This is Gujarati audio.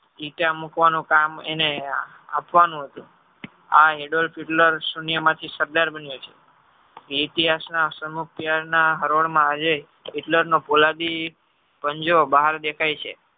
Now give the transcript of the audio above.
મુકવાનું કામ એને આપવાનું હતું આ Adolf Hitler શૂન્ય માંથી સરદાર બનિયો છે એ ઇતિહાસ ના સંમુક્તિ ના હરોળ માં આજે Hitler પોલાદી પંજો બહાર દેખાય છે.